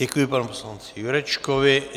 Děkuji panu poslanci Jurečkovi.